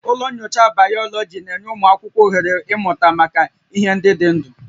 Ụlọ nyocha Bayoloji na-enye ụmụ akwụkwọ ohere ịmụta maka ihe ndị dị ndụ